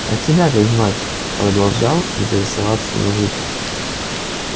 а тебя как звать продолжал интересоваться мужик